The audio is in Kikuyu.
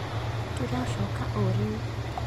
Tũracoka o rĩu.